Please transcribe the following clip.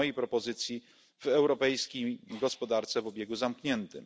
po mojej propozycji w europejskiej gospodarce o obiegu zamkniętym.